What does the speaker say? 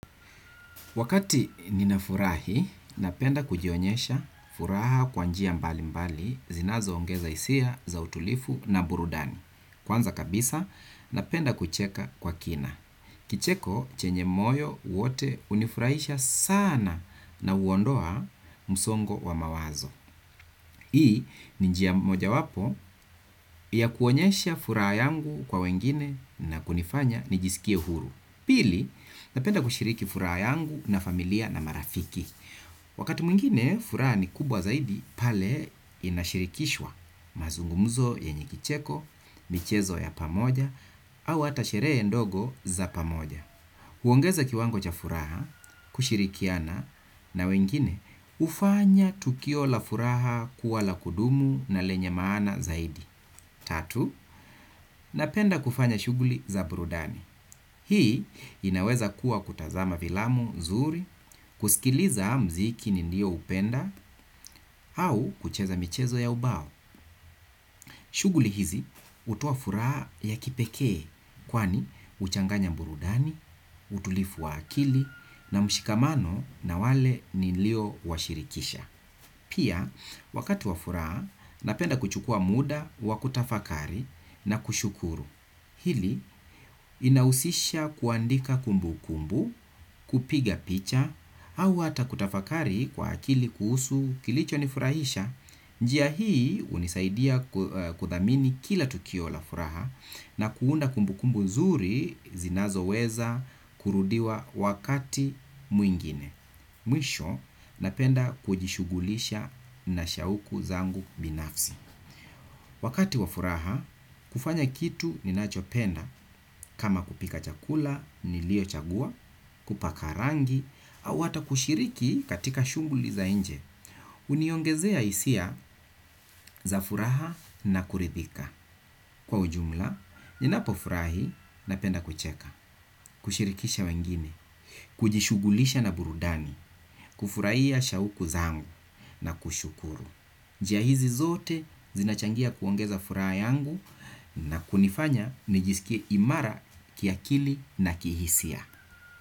Wakati ninafurahi, napenda kujionyesha furaha kwa njia mbalimbali zinazoongeza hisia za utulivu na burudani. Kwanza kabisa, napenda kucheka kwa kina. Kicheko chenye moyo wote hunifurahisha sana na huondoa msongo wa mawazo. Hii, ni njia moja wapo ya kuonyesha furaha yangu kwa wengine na kunifanya nijisikie huru. Pili, napenda kushiriki furaha yangu na familia na marafiki. Wakati mwingine, furaha ni kubwa zaidi, pale inashirikishwa mazungumuzo yenye kicheko, michezo ya pamoja, au hata sherehe ndogo za pamoja. Huongeza kiwango cha furaha, kushirikiana, na wengine, hufanya tukio la furaha kuwa la kudumu na lenye maana zaidi. Tatu, napenda kufanya shughuli za burudani. Hii inaweza kuwa kutazama filamu, zuri, kusikiliza mziki nilio upenda au kucheza michezo ya ubao. Shughuli hizi hutoa furaha ya kipekee kwani huchanganya burudani, utulivu wa akili na mshikamano na wale nilio washirikisha. Pia wakati wa furaha napenda kuchukua muda wa kutafakari na kushukuru. Hili inahusisha kuandika kumbukumbu kupiga picha au hata kutafakari kwa akili kuhusu kilicho nifurahisha. Njia hii hunisaidia kuthamini kila tukio la furaha na kuunda kumbu kumbu zuri zinazo weza kurudiwa wakati mwingine. Mwisho, napenda kujishughulisha na shauku zangu binafsi. Wakati wa furaha, kufanya kitu ninachopenda kama kupika chakula, nilio chagua, kupaka rangi au hata kushiriki katika shughuli za inje huniongezea hisia za furaha na kuridhika. Kwa ujumla, ninapo furahi, napenda kucheka kushirikisha wengine, kujishughulisha na burudani kufurahia shauku zangu na kushukuru njia hizi zote zinachangia kuongeza furaha yangu na kunifanya nijisikie imara kiakili na kihisia.